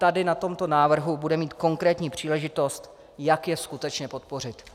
Tady na tomto návrhu bude mít konkrétní příležitost, jak je skutečně podpořit.